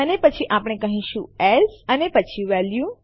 અને પછી આપણે કહીશું એએસ અને પછી વેલ્યુ